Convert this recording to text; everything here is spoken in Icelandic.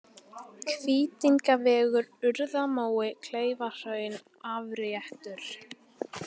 Hvítingavegur, Urðarmói, Kleifahraun, Afréttur